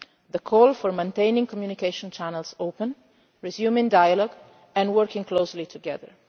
the call for keeping communication channels open, resuming dialogue and working closely together.